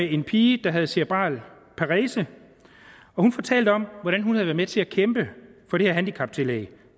en pige der har cerebral parese hun fortalte om hvordan hun havde været med til at kæmpe for det her handicaptillæg